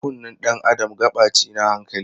Kunnen dan Adam gaɓa ce na hankali.